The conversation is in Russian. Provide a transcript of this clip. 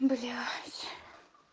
блять